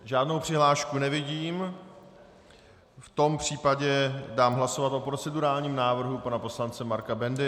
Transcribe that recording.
Žádnou přihlášku nevidím, v tom případě dám hlasovat o procedurálním návrhu pana poslance Marka Bendy.